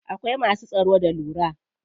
Akwai masu tsaro da lura.